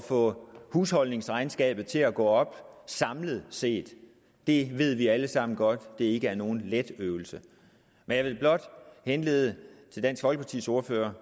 få husholdningsregnskabet til at gå op samlet set det ved vi alle sammen godt ikke er nogen let øvelse men jeg vil blot henlede dansk folkepartis ordførers